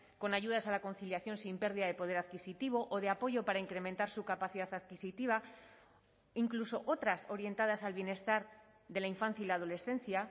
con ayudas a la conciliación sin pérdida de poder adquisitivo o de apoyo para incrementar su capacidad adquisitiva incluso otras orientadas al bienestar de la infancia y la adolescencia